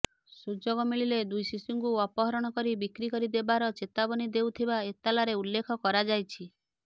ସୁଯୋଗ ମିଳିଲେ ଦୁଇ ଶିଶୁଙ୍କୁ ଅପହରଣ କରି ବିକ୍ରି କରି ଦେବାର ଚେତାବନୀ ଦେଉଥିବା ଏତଲାରେ ଉଲ୍ଳେଖ କରାଯାଇଛି